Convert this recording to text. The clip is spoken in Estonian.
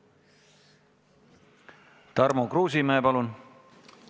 Tarmo Kruusimäe, palun!